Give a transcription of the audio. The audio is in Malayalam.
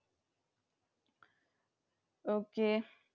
Okay.